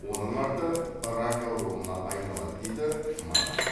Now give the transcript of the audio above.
оның арты рак ауруына айналады дейді маман